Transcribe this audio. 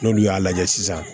N'olu y'a lajɛ sisan